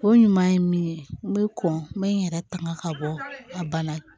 O ɲuman ye min ye n bɛ kɔn be n yɛrɛ tanga ka bɔ a bana